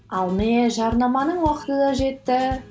ал міне жарнаманың уақыты да жетті